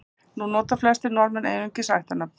Nú nota flestir Norðmenn einungis ættarnöfn.